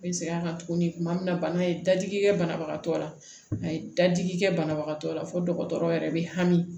N bɛ segin a kan tuguni tuma min na bana ye dadigi kɛ banabagatɔ la a ye dadigi kɛ banabagatɔ la fo dɔgɔtɔrɔ yɛrɛ bɛ hami